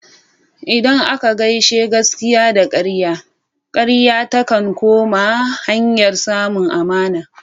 Idan aka gaishe gaskiya da karya, karya takan koma hanyar samun amana.